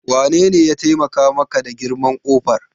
Wanene ya taimaka maka da girman ƙofar?